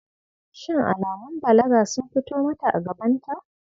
Shin alamun balaga sun fito mata a gabanta?